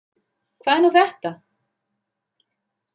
Hvað er nú þetta?